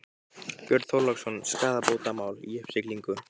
Björn Þorláksson: Skaðabótamál í uppsiglingu?